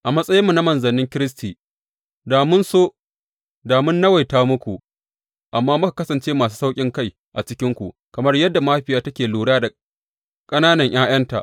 A matsayinmu na manzannin Kiristi da mun so, da mun nawaita muku, amma muka kasance masu sauƙinkai a cikinku, kamar yadda mahaifiya take lura da ƙananan ’ya’yanta.